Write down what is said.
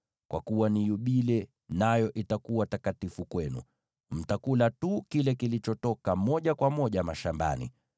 Kwa kuwa ni yubile, nayo itakuwa takatifu kwenu; mtakula tu kile kilichotoka moja kwa moja mashambani.